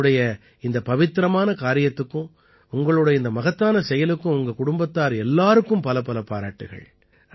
உங்களுடைய இந்த பவித்திரமான காரியத்திற்கும் உங்களோட இந்த மகத்தான செயலுக்கும் உங்க குடும்பத்தார் எல்லாருக்கும் பலப்பல பாராட்டுக்கள்